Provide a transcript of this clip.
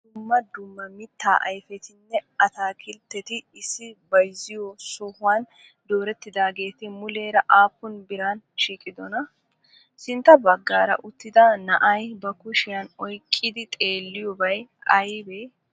Dumma dumma mittaa ayfetinne ataakkiltteti issi bayziyoo sohuwan doorettidageeti muleera appun biran shiqqidonaa? Sintta baggara uttida naa'ay ba kushiyan oyqqidi xeeliyobay aybee?